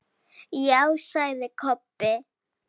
Já, sagði Kobbi.